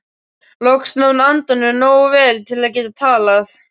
Loks náði hún andanum nógu vel til að geta talað.